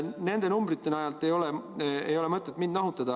Nende numbrite najal ei ole mõtet mind nahutada.